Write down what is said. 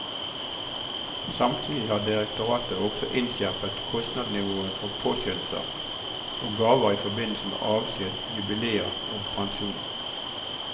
Samtidig har direktoratet også innskjerpet kostnadsnivået for påskjønnelser og gaver i forbindelse med avskjed, jubileer og pensjon.